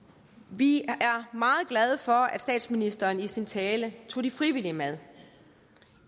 vi er meget glade for at statsministeren i sin tale tog de frivillige med